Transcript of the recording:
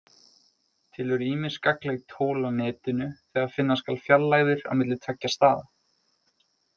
Til eru ýmis gagnleg tól á Netinu þegar finna skal fjarlægðir á milli tveggja staða.